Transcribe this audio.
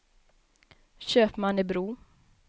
Köpmannebro